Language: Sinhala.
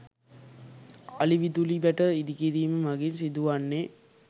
අලි විදුලි වැට ඉදිකිරීම මගින් සිදුවන්නේ